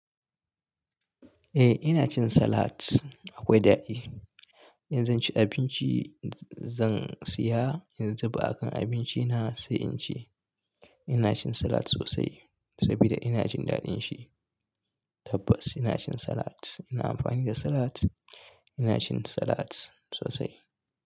Eh ina cin salat. Akwai daɗi. In zan ci abinci, zan siya, in zuba a kan abinci na sai in ci. Ina cin salat sosai saboda ina jin daɗin shi. Tabbas ina cin salat. Ina amfani da salat. Ina cin salat sosai.